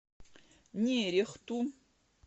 нерехту